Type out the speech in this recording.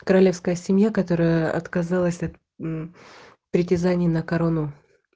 королевская семья которая отказалась от мм притязаний на корону